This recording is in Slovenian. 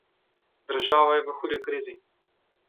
Država je v hudi krizi.